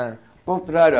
Ah. Contrário.